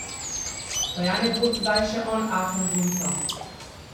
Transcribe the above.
Pa ja ne bo zdaj še on afen guncal?